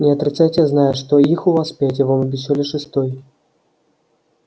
не отрицайте я знаю что их у вас пять и вам обещали шестой